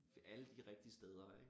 Alle de rigtige steder ik